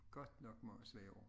Godt nok mange svære ord